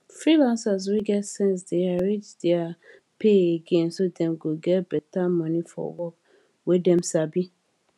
freelancers wey get sense dey arrange their pay again so dem go get beta money for work wey dem sabi